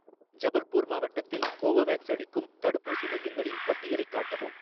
ஜபல்பூர் மாவட்டத்தில் கோவோவேக்ஸ் அளிக்கும் தடுப்பூசி மையங்களின் பட்டியலைக் காட்டவும்